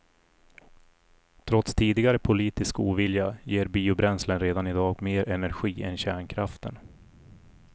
Trots tidigare politisk ovilja ger biobränslen redan i dag mer energi än kärnkraften.